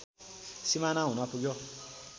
सिमाना हुन पुग्यो